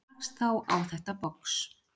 Rakst þá á þetta box.